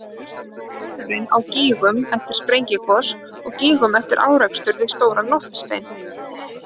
Hver er munurinn á gígum eftir sprengigos og gígum eftir árekstur við stóran loftstein?